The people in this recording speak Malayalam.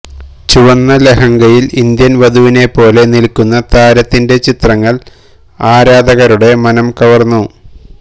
ചുവന്ന ലഹങ്കയിൽ ഇന്ത്യൻ വധുവിനേപ്പോലെ നിൽക്കുന്ന താരത്തിൻ്റെ ചിത്രങ്ങൾ ആരാധകരുടെ മനം കവർന്നു